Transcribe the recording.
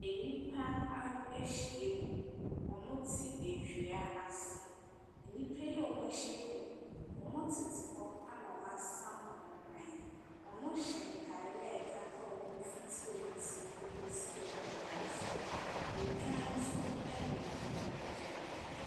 Nnipa a ahyiam. Wɔte dua ase. Nnipa a wɔahyiam yi, wɔtete hɔ ɛnna wɔasam wɔn nan. Wɔhyɛ ntare a ɛkata wɔn ho fiti wɔn ti kɔsi wɔn nan ase. Odwan nso nenam wɔn nkyɛn.